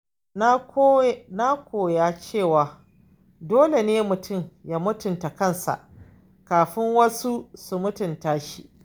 Na koya cewa dole ne mutum ya mutunta kansa kafin wasu su mutunta shi.